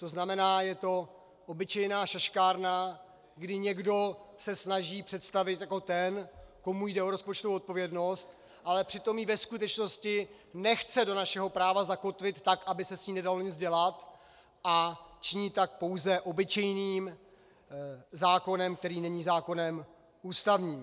To znamená, je to obyčejná šaškárna, kdy někdo se snaží představit jako ten, komu jde o rozpočtovou odpovědnost, ale přitom ji ve skutečnosti nechce do našeho práva zakotvit tak, aby se s tím nedalo nic dělat, a činí tak pouze obyčejným zákonem, který není zákonem ústavním.